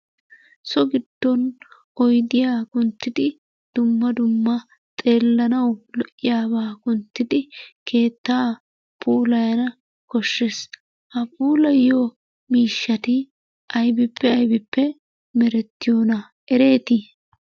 So giddon oydiya kunttidi dumma dumma xeelanawu lo'iyabaa wottidi keettaa puulayanna koshshees, ha puulayiyo miishshati aybippe aybippe merettiyona? Ereeti?